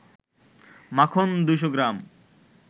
মাখন ২০০ গ্রাম